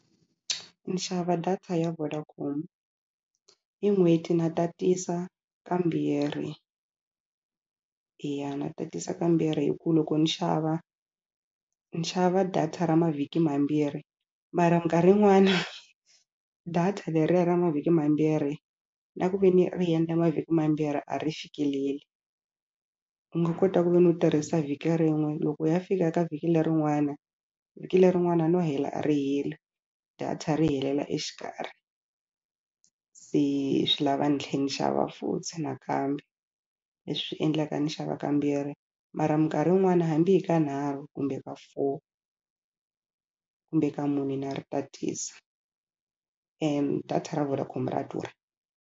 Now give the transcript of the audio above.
Ni xava data ya Vodacom hi n'hweti na tatisa kambirhi ya na tatisa kambirhi hi ku loko ni xava ni xava data ra mavhiki mambirhi mara minkarhi yin'wana data leriya ra mavhiki mambirhi na ku ve ni ri endla mavhiki mambirhi a ri fikeleli u nga kota ku ve ni u tirhisa vhiki rin'we loko u ya fika ka vhiki lerin'wana vhiki lerin'wana no hela a ri heli data ri helela exikarhi se swi lava ni tlhe ni xava futhi nakambe leswi endlaka ni xava kambirhi mara minkarhi yin'wana hambi hi kanharhu kumbe ka four kumbe ka mune na ri tatisa data ra Vodacom ra durha.